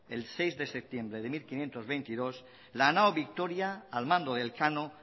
el seis de septiembre de mil quinientos veintidós la nao victoria al mando de elcano